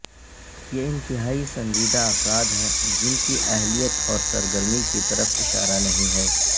یہ انتہائی سنجیدہ افراد ہیں جن کی اہلیت اور سرگرمی کی طرف اشارہ نہیں ہے